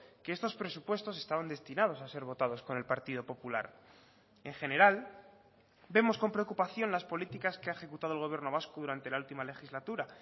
que estos presupuestos estaban destinados a ser votados con el partido popular en general vemos con preocupación las políticas que ha ejecutado el gobierno vasco durante la última legislatura